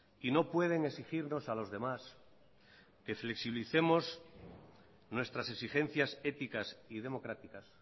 y no pueden exigirnos a los demás que flexibilicemos nuestras exigencias éticas y democráticas